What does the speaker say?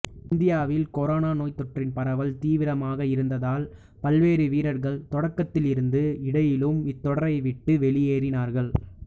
இந்தியாவில் கொரோனா நோய்த்தொற்றின் பரவல் தீவிரமாக இருந்ததால் பல்வேறு வீரர்கள் தொடக்கத்திலிருந்து இடையிலும் இத்தொடரை விட்டு வெளியேறினார்கள்